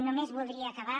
només voldria acabar